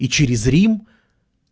и через рим